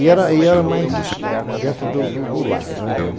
E era e era mais dentro do do do lar, né?